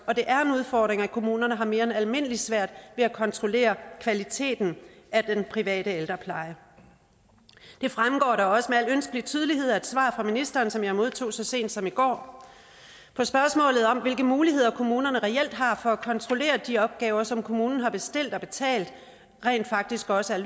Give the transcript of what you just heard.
og det er en udfordring at kommunerne har mere end almindeligt svært ved kontrollere kvaliteten af den private ældrepleje det fremgår da også med al ønskelig tydelighed af et svar fra ministeren som jeg modtog så sent som i går på spørgsmålet om hvilke muligheder kommunerne reelt har for at kontrollere at de opgaver som kommunen har bestilt og betalt rent faktisk også er